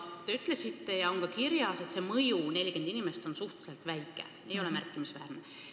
Te ütlesite ja on ka kirjas, et see mõju – 40 inimest – on suhteliselt väike, ei ole märkimisväärne.